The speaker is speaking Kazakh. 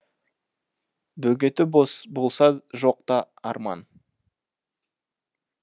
бөгеті болса жоқ та арман